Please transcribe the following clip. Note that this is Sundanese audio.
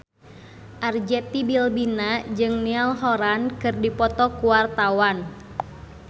Arzetti Bilbina jeung Niall Horran keur dipoto ku wartawan